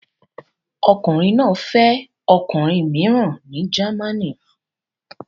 Ọkùnrin náà fẹ́ ọkùnrin mìíràn ní Germany